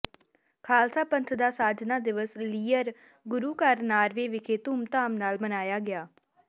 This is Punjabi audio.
ਖਾਲਸਾ ਪੰਥ ਦਾ ਸਾਜਨਾ ਦਿਵਸ ਲੀਅਰ ਗੁਰੂ ਘਰ ਨਾਰਵੇ ਵਿਖੇ ਧੁਮ ਧਾਮ ਨਾਲ ਮਨਾਇਆ ਗਿਆ